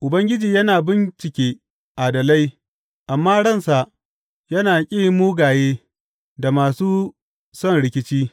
Ubangiji yana bincike adalai, amma ransa yana ƙi mugaye da masu son rikici.